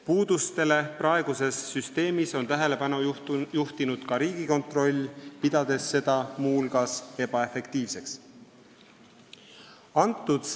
Puudustele praeguses süsteemis on tähelepanu juhtinud ka Riigikontroll, pidades seda muu hulgas ebaefektiivseks.